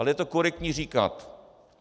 Ale je to korektní říkat.